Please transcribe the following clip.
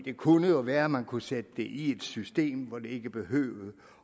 kunne jo være at man kunne sætte det i et system hvor det ikke behøvede